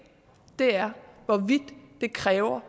er hvorvidt det kræver